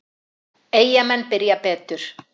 Eyjamenn byrja betur.